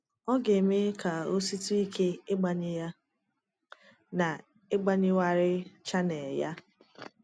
Ọ ga-eme ka o sitụ ike ịgbanye ya na ịgbanwegharị chanel ya